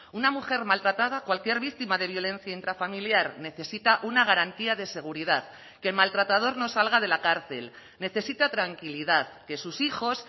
una mujer maltratada cualquier víctima de violencia intrafamiliar necesita una garantía de seguridad que el maltratador no salga de la cárcel necesita tranquilidad que sus hijos